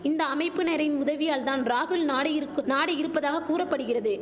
இந்த அமைப்பினரின் உதவியால் தான் ராகுல் நாடியிருக்கு நாடியிருப்பதாக கூறபடுகிறது